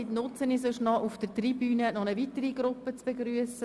Ich nutze die Wartezeit, um auf der Tribüne eine weitere Gruppe zu begrüssen: